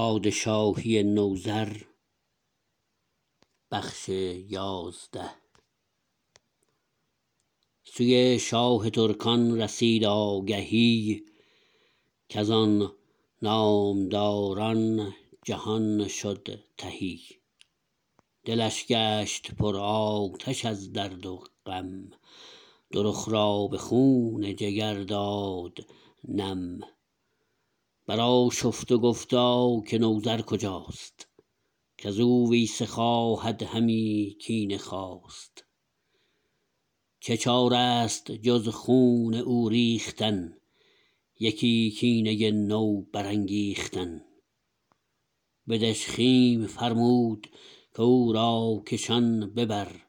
سوی شاه ترکان رسید آگهی کزان نامداران جهان شد تهی دلش گشت پر آتش از درد و غم دو رخ را به خون جگر داد نم برآشفت و گفتا که نوذر کجاست کزو ویسه خواهد همی کینه خواست چه چاره است جز خون او ریختن یکی کینه نو برانگیختن به دژخیم فرمود کو را کشان ببر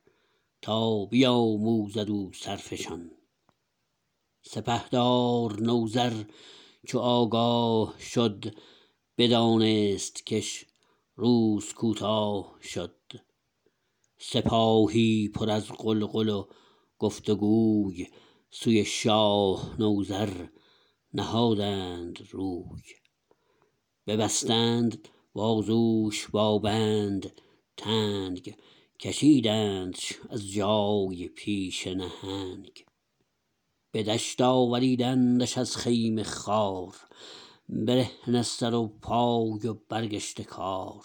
تا بیاموزد او سرفشان سپهدار نوذر چو آگاه شد بدانست کش روز کوتاه شد سپاهی پر از غلغل و گفت و گوی سوی شاه نوذر نهادند روی ببستند بازوش با بند تنگ کشیدندش از جای پیش نهنگ به دشت آوریدندش از خیمه خوار برهنه سر و پای و برگشته کار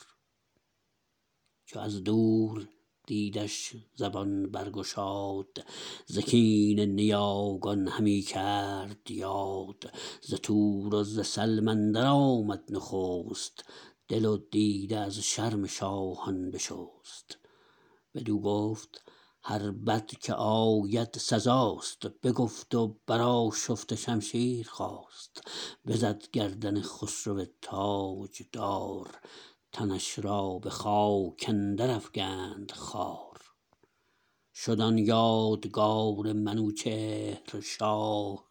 چو از دور دیدش زبان برگشاد ز کین نیاگان همی کرد یاد ز تور و ز سلم اندر آمد نخست دل و دیده از شرم شاهان بشست بدو گفت هر بد که آید سزاست بگفت و برآشفت و شمشیر خواست بزد گردن خسرو تاجدار تنش را بخاک اندر افگند خوار شد آن یادگار منوچهر شاه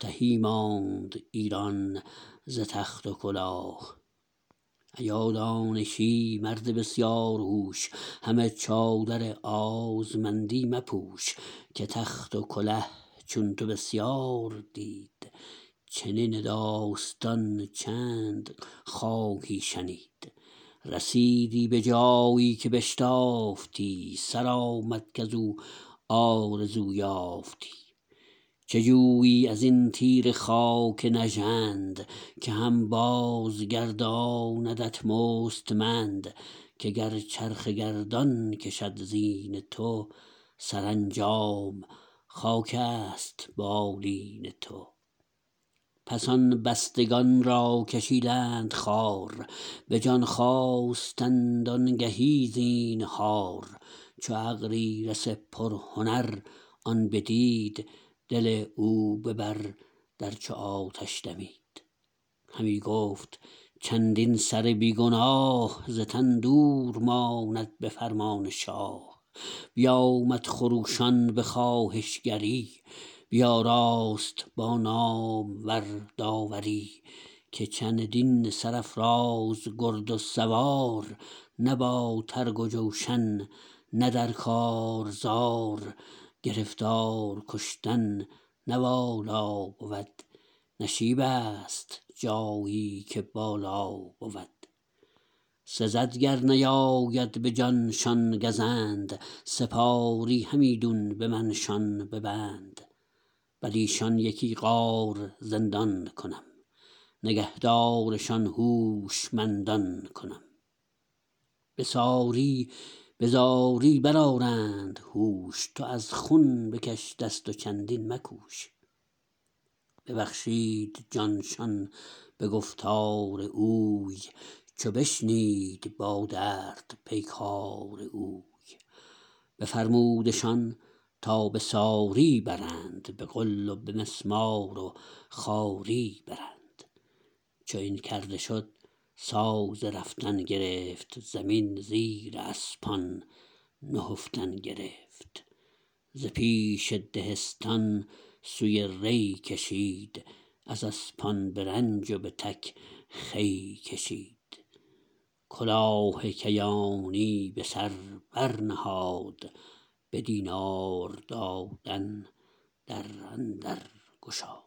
تهی ماند ایران ز تخت و کلاه ایا دانشی مرد بسیار هوش همه چادر آزمندی مپوش که تخت و کله چون تو بسیار دید چنین داستان چند خواهی شنید رسیدی به جایی که بشتافتی سرآمد کزو آرزو یافتی چه جویی از این تیره خاک نژند که هم بازگرداندت مستمند که گر چرخ گردان کشد زین تو سرانجام خاکست بالین تو پس آن بستگان را کشیدند خوار به جان خواستند آنگهی زینهار چو اغریرث پرهنر آن بدید دل او ببر در چو آتش دمید همی گفت چندین سر بی گناه ز تن دور ماند به فرمان شاه بیامد خروشان به خواهشگری بیاراست با نامور داوری که چندین سرافراز گرد و سوار نه با ترگ و جوشن نه در کارزار گرفتار کشتن نه والا بود نشیبست جایی که بالا بود سزد گر نیاید به جانشان گزند سپاری همیدون به من شان ببند بریشان یکی غار زندان کنم نگهدارشان هوشمندان کنم به ساری به زاری برآرند هوش تو از خون به کش دست و چندین مکوش ببخشید جان شان به گفتار اوی چو بشنید با درد پیکار اوی بفرمودشان تا به ساری برند به غل و به مسمار و خواری برند چو این کرده شد ساز رفتن گرفت زمین زیر اسپان نهفتن گرفت ز پیش دهستان سوی ری کشید از اسپان به رنج و به تک خوی کشید کلاه کیانی به سر بر نهاد به دینار دادن در اندرگشاد